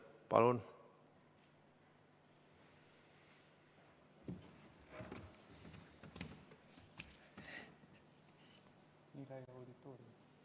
Palun!